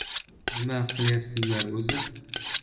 Nima qilyapsizlar o‘zi?